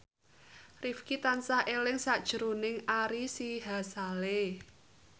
Rifqi tansah eling sakjroning Ari Sihasale